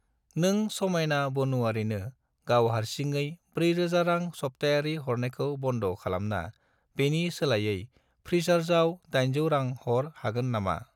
नों समायना बानुआरिनो गाव हारसिङै 4000 रां सप्तायारि हरनायखौ बन्द' खालामना बेनि सोलायै फ्रिसार्जआव 800 रां हर हागोन नामा?